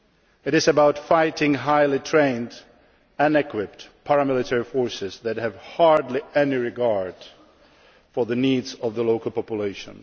It is about fighting highly trained and equipped paramilitary forces that have hardly any regard for the needs of the local population.